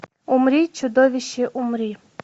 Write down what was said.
умри чудовище умри